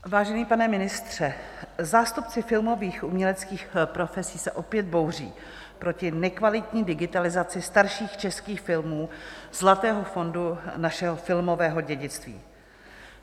Vážený pane ministře, zástupci filmových uměleckých profesí se opět bouří proti nekvalitní digitalizaci starších českých film, zlatého fondu našeho filmového dědictví.